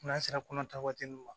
N'a sera kɔnɔta waati min ma